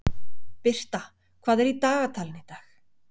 Birta, hvað er í dagatalinu í dag?